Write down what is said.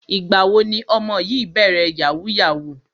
Ìgbà wo ni ọmọ yìí bẹ̀rẹ̀ yahoo yahoo?